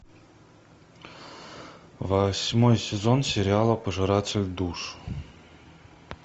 восьмой сезон сериала пожиратель душ